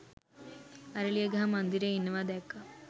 අරලියගහ මන්දිරයේ ඉන්නවා දැක්කා